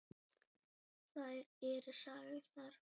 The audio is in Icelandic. Þær eru sagðar.